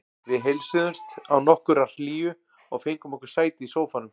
Við heilsuðumst án nokkurrar hlýju og fengum okkur sæti í sófanum.